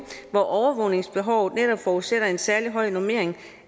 hvor overvågningsbehovet netop forudsætter en særlig høj normering